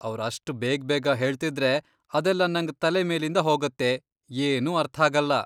ಅವ್ರ್ ಅಷ್ಟ್ ಬೇಗ್ಬೇಗ ಹೇಳ್ತಿದ್ರೆ ಅದೆಲ್ಲ ನಂಗ್ ತಲೆ ಮೇಲಿಂದ ಹೋಗತ್ತೆ, ಏನೂ ಅರ್ಥಾಗಲ್ಲ.